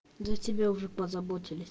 за тебя уже позаботили